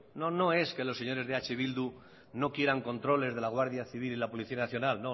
no es que los señores de eh bildu no quieran controles de la guardia civil ni de la policía nacional